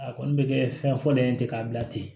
A kɔni bɛ kɛ fɛn fɔlɔ ye ten k'a bila ten